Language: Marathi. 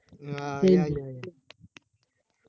ना या! या! या!